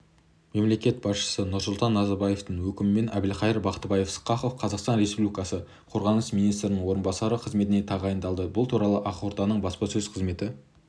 мемлекет басшысы нұрсұлтан назарбаевтың өкімімен әбілқайыр бақтыбайұлы сқақов қазақстан республикасы қорғаныс министрінің орынбасары қызметіне тағайындалды бұл туралы ақорданың баспасөз қызметі